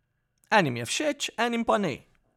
Enim je všeč, enim pa ne.